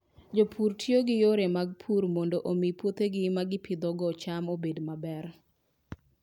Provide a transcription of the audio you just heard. Jopur tiyo gi yore mag pur mondo omi puothegi ma gipidhogo cham obed maber.